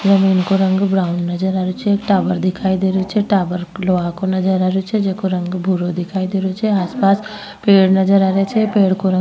जमीन को रंग ब्राउन नजर आ रियो छे एक टावर दिखाई दे रहियो छे टावर लोह को नजर आ रहियो छे जिको रंग भुरो दिखाई दे रियो छे आस पास पेड़ नजर आ रिया छे पेड़ को रंग --